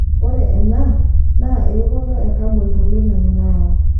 Ore ena naa eokoto e kabon toloing'ang'e neyau.